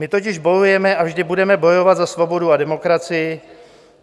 My totiž bojujeme a vždy budeme bojovat za svobodu a demokracii.